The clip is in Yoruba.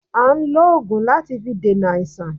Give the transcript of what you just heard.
À n lògùn láti fi dènà àìsàn